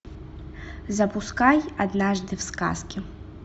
запускай однажды в сказке